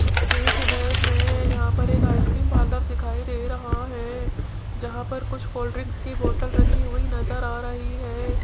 इस इमेज में यहां पर एक आइसक्रीम पार्लर दिखाई दे रहा है जहां पर कुछ कोल्ड ड्रिंक की बोतल रखी हुई नजर आ रही है।